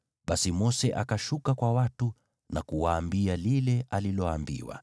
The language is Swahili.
Basi Mose akashuka kwa watu na kuwaambia lile aliloambiwa.